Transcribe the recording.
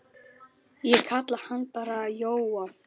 Ég kalla hann bara Jóa.